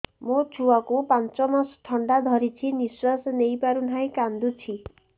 ମୋ ଛୁଆକୁ ପାଞ୍ଚ ମାସ ଥଣ୍ଡା ଧରିଛି ନିଶ୍ୱାସ ନେଇ ପାରୁ ନାହିଁ କାଂଦୁଛି